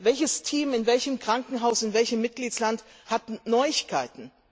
Welches Team in welchem Krankenhaus in welchem Mitgliedstaat hat Neuigkeiten?